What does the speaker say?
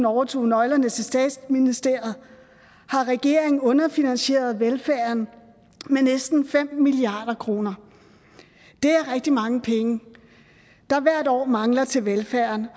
overtog nøglerne til statsministeriet har regeringen underfinansieret velfærden med næsten fem milliard kroner det er rigtig mange penge der hvert år mangler til velfærden og